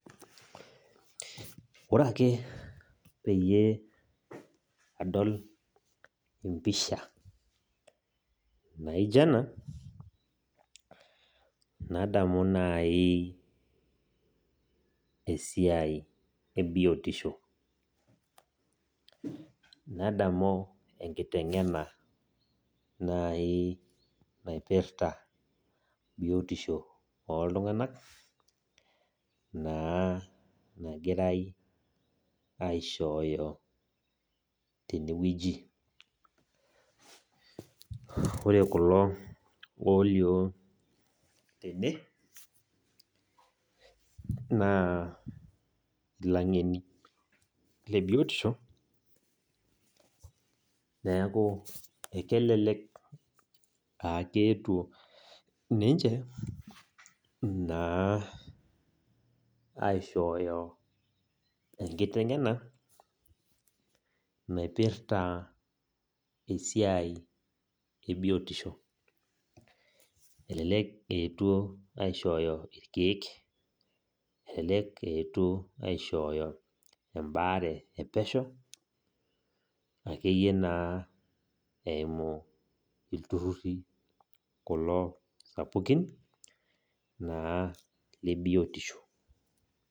Ore ake peyie adol empisha naija ena, nadamu nai esiai ebiotisho. Nadamu enkiteng'ena nai naipirta biotisho oltung'anak, naa nagirai aishooyo tenewueji. Ore kulo olio tene, naa ilang'eni lebiotisho, neeku ekelelek aketuo ninche naa aishooyo enkiteng'ena, naipirta esiai ebiotisho. Elelek etuo aishooyo irkeek, elelek eetuo aishooyo ebaare epesho, akeyie naa eimu ilturrurri kulo sapukin, naa lebiotisho.